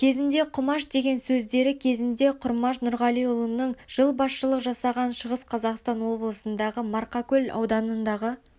кезінде құмаш деген сөздері кезінде құрмаш нұрғалиұлының жыл басшылық жасаған шығыс қазақстан облысындағы марқакөл ауданындағы